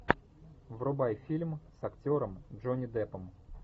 врубай фильм с актером джонни деппом